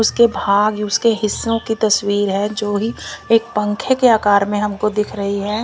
उसके भाग ही उसके हिस्सों की तस्वीर है जो ही एक पंखे के आकार में हमको दिख रही है।